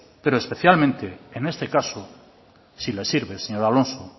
pero especialmente en este caso si le sirve señor alonso